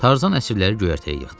Tarzan əsirləri göyərtəyə yığdı.